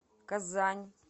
казань